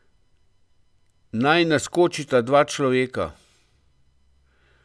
Naj naskočita dva človeka?